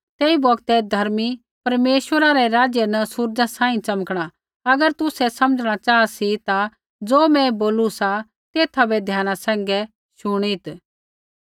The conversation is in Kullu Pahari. तेई बौगतै धर्मी परमेश्वरै रै राज्य न सूरज़ा सांही च़मकणा अगर तुसै समझ़णा चाहा सी ता ज़ो मैं बोलू सा तेथा बै ध्याना सैंघै शुणित्